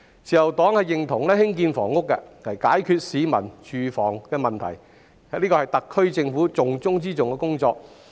自由黨認同政府透過興建房屋解決市民的住屋問題，這是特區政府重中之重的工作。